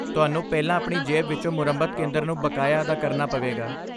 ਤੁਹਾਨੂੰ ਪਹਿਲਾਂ ਆਪਣੀ ਜੇਬ ਵਿੱਚੋਂ ਮੁਰੰਮਤ ਕੇਂਦਰ ਨੂੰ ਬਕਾਇਆ ਅਦਾ ਕਰਨਾ ਪਵੇਗਾ।